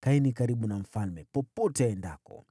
Kaeni karibu na mfalme popote aendapo.”